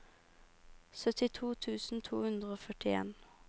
syttito tusen to hundre og førtien